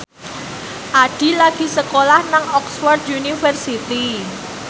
Addie lagi sekolah nang Oxford university